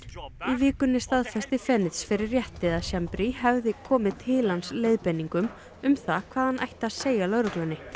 vikunni staðfesti fyrir rétti að Schembri hefði komið til hans leiðbeiningum um það hvað hann ætti að segja lögreglunni